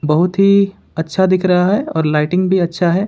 बहुत ही अच्छा दिख रहा है और लाइटिंग भी अच्छा है।